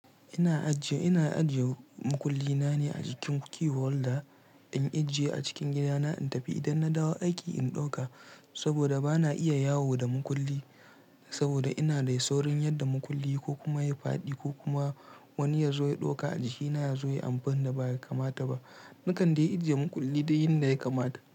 Ina ajiye, ina ajiye mukulli na ne a jikin key holder, in ajiye a cikin gidana in tafi idan na dawo aiki in ɗauka saboda bana iya yawo da mukulli. Saboda ina da saurayin yadda mukulli ko kuma ya yi faɗi ko kuma wani ya zo ya ɗauka a jikina ya zo ya yi amfanin da ba ya kamata ba. Nakanda in ajiye mukulli dai in da ya kamata.